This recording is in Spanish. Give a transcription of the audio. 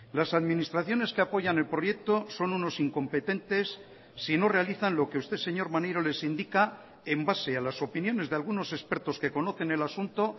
las administraciones que apoyan el proyecto son unos incompetentes si no realizan lo que usted señor maneiro les indica en base a las opiniones de algunos expertos que conocen el asunto